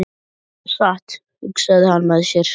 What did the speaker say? Þetta var satt, hugsaði hann með sér.